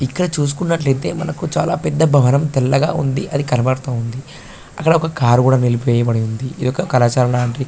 ఇక్కడ చూసుకున్నట్లైతే మనకు చాల పెద్ద భవనం తెల్లగా ఉంది అది కనబడతా ఉంది అక్కడ ఒక కార్ కూడా నిలిపివేయబడి ఉంది ఇది ఒక కళాశాల లాంటి --